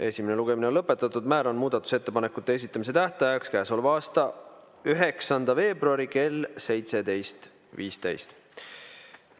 Esimene lugemine on lõpetatud, määran muudatusettepanekute esitamise tähtajaks käesoleva aasta 9. veebruari kell 17.15.